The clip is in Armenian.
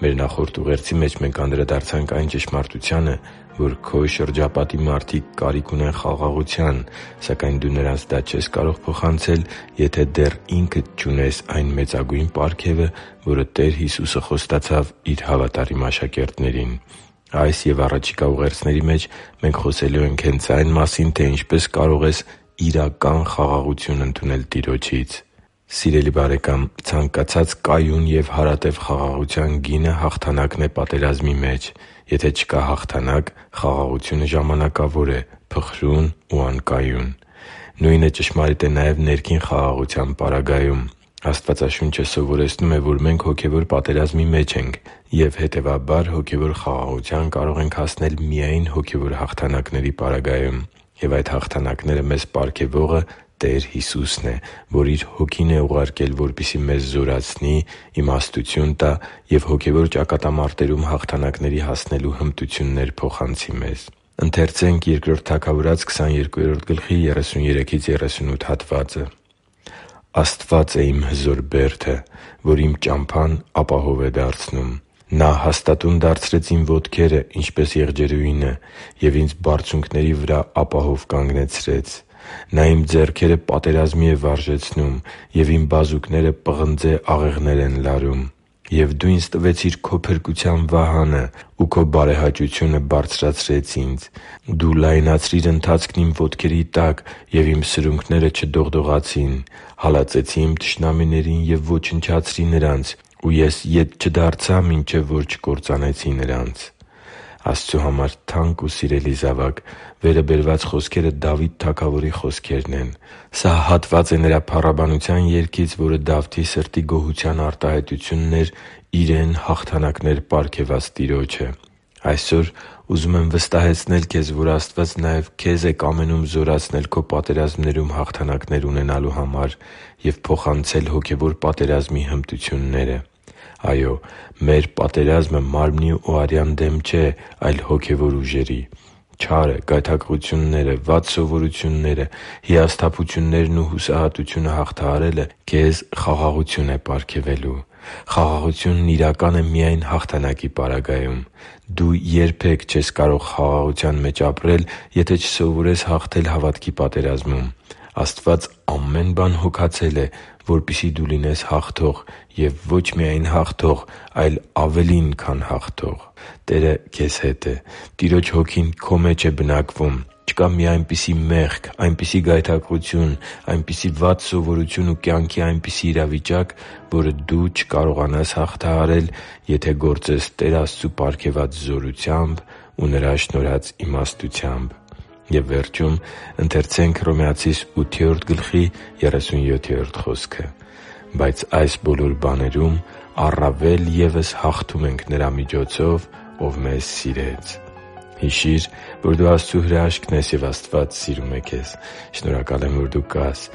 Մեր նախորդ ուղերձի մեջ մենք անդրադարձանք այն ճշմարտությանը, որ քո շրջապատի մարդիկ կարիք ունեն խաղաղության, սակայն դու նրանց դա չես կարող փոխանցել, եթե դեռ ինքդ չունես այն մեծագույն պարգևը, որը Տեր Հիսուսը խոստացավ Իր հավատարիմ աշակերտներին։ Այս և առաջիկա ուղերձների մեջ մենք խոսելու ենք այն մասին, թե ինչպես կարող ես իրական խաղաղություն ընդունել Տեր Հիսուսից։ Սիրելի՛ բարեկամ, ցանկացած կայուն և հարատև խաղաղության գինը հաղթանակն է պատերազմի մեջ։ Եթե չկա հաղթանակ, խաղաղությունը ժամանակավոր է, փխրուն ու անկայուն։ Նույնը ճշմարիտ է նաև ներքին խաղաղության պարագայում։ Աստվածաշունչը սովորեցնում է, որ մենք հոգևոր պատերազմի մեջ ենք և, հետևաբար, հոգևոր խաղաղության կարող ենք հասնել միայն հոգևոր հաղթանակների պարագայում։ Եվ այդ հաղթանակները մեզ պարգևողը Տեր Հիսուսն է, որ Իր Հոգին է ուղարկել, որպեսզի մեզ զորացնի, իմաստություն տա և հոգևոր ճակատամարտերում հաղթանակների հասնելու հմտություններ մեզ փոխանցի։ «Աստված է իմ հզոր բերդը, Որ իմ ճամփան ապահով է դարձնում։ Նա հաստատուն դարձրեց իմ ոտքերը, ինչպես եղջերուինը, Եվ ինձ բարձունքների վրա ապահով կանգնեցրեց։ Նա իմ ձեռքերը պատերազմի է վարժեցնում, Եվ իմ բազուկները պղնձե աղեղներ են լարում։ Եվ Դու ինձ տվեցիր Քո փրկության վահանը, Ու Քո բարեհաճությունը բարձրացրեց ինձ։ Դու լայնացրիր ընթացքն իմ ոտքերի տակ, Եվ իմ սրունքները չդողդողացին։ Հալածեցի իմ թշնամիներին և ոչնչացրի նրանց, Ու ես ետ չդարձա, մինչև որ չկործանեցի նրանց» (Բ Թագավորաց 22․33-38): Աստծո համար թանկ ու սիրելի՛ զավակ, վերը բերված խոսքերը Դավիթ թագավորի խոսքերն են։ Սա հատված է նրա փառաբանության երգից, որը Դավթի սրտի գոհության արտահայտությունն էր իրեն հաղթանակներ պարգևած Տիրոջը։ Այսօր ուզում եմ վստահեցնել քեզ, որ Աստված նաև քե՛զ է կամենում զորացնել քո պատերազմներում հաղթանակներ ունենալու համար և փոխանցել հոգևոր պատերազմի հմտությունները։ Այո՛, մեր պատերազմը մարմնի ու արյան դեմ չէ, այլ՝ հոգևոր ուժերի։ Չարը, գայթակղությունները, վատ սովորությունները, հիասթափություններն ու հուսահատությունը հաղթահարելը քեզ խաղաղություն է պարգևելու։ Խաղաղությունն իրական է միայն հաղթանակի պարագայում։ Դու երբե՛ք չես կարող խաղաղության մեջ ապրել, եթե չսովորես հաղթել հավատքի պատերազմում։ Աստված ամեն բան հոգացել է, որպեսզի դու լինես հաղթող և ոչ միայն հաղթող, այլ ավելի, քան հաղթող։ Տերը քեզ հետ է։ Տիրոջ Հոգին է քո մեջ բնակվում։ Չկա մի այնպիսի մեղք, այնպիսի գայթակղություն, այնպիսի մի վատ սովորություն ու կյանքի այնպիսի իրավիճակ, որը դու չկարողանաս հաղթահարել, եթե գործես Տեր Աստծու պարգևած զորությամբ ու Նրա շնորհած իմաստությամբ։ «Բայց այս բոլոր բաներում առավել ևս հաղթում ենք Նրա՛ միջոցով, ով մեզ սիրեց» (Հռոմեացիս 8․37): Հիշի՛ր, որ դու Աստծո հրաշքն ես, և Աստված սիրում է քեզ։ Շնորհակալ եմ, որ դու կա՛ս